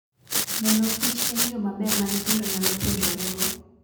Neno kich en yo maber ma nyithindo nyalo puonjorego.